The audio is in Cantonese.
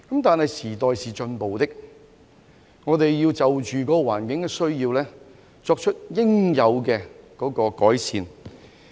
但是，時代是進步的，我們要就着環境的需要而作出應有改善。